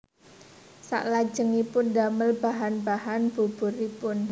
Salajengipun damel bahan bahan buburipun